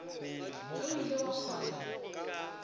ge o ile wa kgona